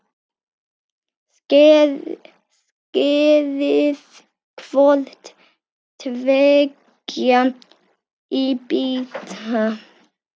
Skerið hvort tveggja í bita.